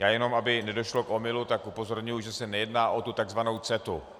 Já jenom aby nedošlo k omylu, tak upozorňuji, že se nejedná o tu tzv. CETA.